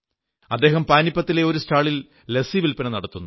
അദ്ദഹം പാനിപ്പത്തിലെ ഒരു സ്റ്റാളിൽ ലസ്സി വിൽപ്പന നടത്തുന്നു